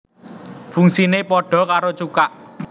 Fungsiné padha karo cukak